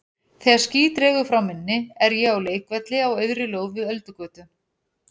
Þegar ský dregur frá minni er ég á leikvelli á auðri lóð við Öldugötu.